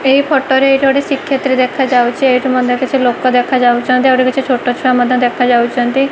ଏହି ଫଟରେ ଏଠି ଗୋଟେ ଶ୍ରୀକ୍ଷେତ୍ର ଦେଖାଯାଉଛି ଏଠି ମଧ୍ଯ କିଛି ଲୋକ ଦେଖାଯାଉଛନ୍ତି ଆଉ ଗୋଟେ କିଛି ଛୋଟ ଛୁଆ ମଧ୍ଯ ଦେଖାଯାଉଛନ୍ତି।